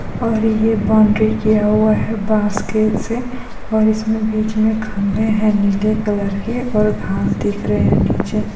और ये बॉउन्ड्री किया हुआ है बांस के से और इसमें बीच में खंबे है नीले कलर के और घाँस दिख रहे है नीचे---